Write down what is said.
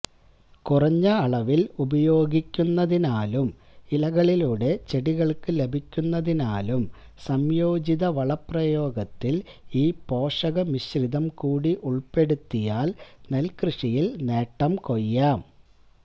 കുറഞ്ഞ അളവില് ഉപയോഗിക്കുന്നതിനാലും ഇലകളിലൂടെ ചെടികള്ക്ക് ലഭിക്കുന്നതിനാലും സംയോജിത വളപ്രയോഗത്തില് ഈ പോഷകമിശ്രിതം കൂടി ഉള്പ്പെടുത്തിയാല് നെല്ക്കൃഷിയില് നേട്ടംകൊയ്യാം